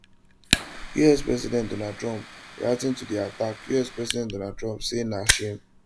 us president donald trump reacting to di attack us president donald trump say na shame